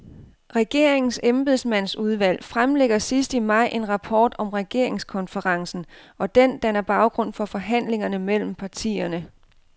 Regeringens embedsmandsudvalg fremlægger sidst i maj en rapport om regeringskonferencen, og den danner baggrund for forhandlingerne mellem partierne.